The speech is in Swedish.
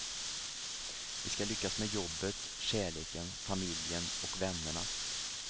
Vi ska lyckas med jobbet, kärleken, familjen och vännerna.